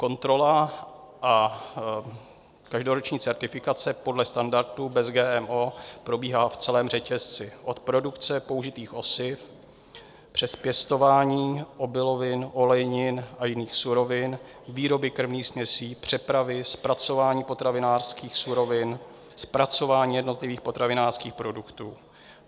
Kontrola a každoroční certifikace podle standardů Bez GMO probíhá v celém řetězci, od produkce použitých osiv přes pěstování obilovin, olejnin a jiných surovin, výroby krmných směsí, přepravy, zpracování potravinářských surovin, zpracování jednotlivých potravinářských produktů.